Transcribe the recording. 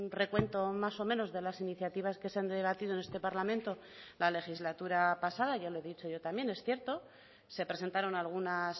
recuento más o menos de las iniciativas que se han debatido en este parlamento la legislatura pasada ya lo he dicho yo también es cierto se presentaron algunas